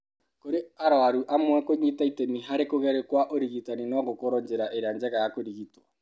Kũrĩ arũaru amwe, kũnyita itemi harĩ kũgerio kwa ũrigitani no gũkorũo njĩra ĩrĩa njega ya kũrigitwo.